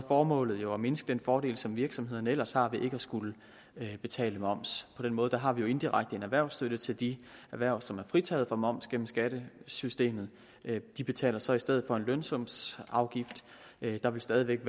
formålet jo at mindske den fordel som virksomhederne ellers har ved ikke at skulle betale moms på den måde har vi jo indirekte en erhvervsstøtte til de erhverv som er fritaget for moms gennem skattesystemet de betaler så i stedet for en lønsumsafgift der vil stadig væk